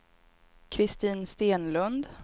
Kristin Stenlund